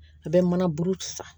A bɛ mana buru ci san